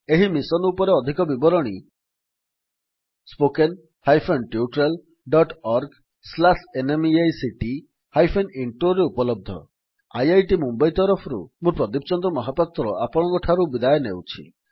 ଏହି ମିଶନ୍ ଉପରେ ଅଧିକ ବିବରଣୀ spoken hyphen tutorial dot org slash NMEICT hyphen ଇଣ୍ଟ୍ରୋରେ ଉପଲବ୍ଧ ଆଇଆଇଟି ମୁମ୍ୱଇ ତରଫରୁ ମୁଁ ପ୍ରଦୀପ ଚନ୍ଦ୍ର ମହାପାତ୍ର ଆପଣଙ୍କଠାରୁ ବିଦାୟ ନେଉଛି